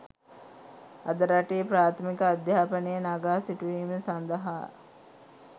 අද රටේ ප්‍රාථමික අධ්‍යාපනය නගා සිටුවීම සඳහා